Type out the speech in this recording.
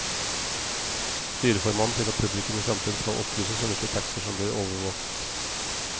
Styreformannen sier at publikum i fremtiden skal opplyses om hvilke taxier som blir overvåket.